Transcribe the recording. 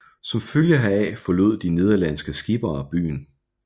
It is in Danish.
Som følge heraf forlod de nederlandske skippere byen